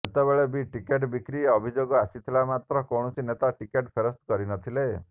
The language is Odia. ସେତେବେଳେ ବି ଟିକେଟ ବିକ୍ରି ଅଭିଯୋଗ ଆସିଥିଲା ମାତ୍ର କୌଣସି ନେତା ଟିକେଟ୍ ଫେରସ୍ତ କରିନଥିଲେ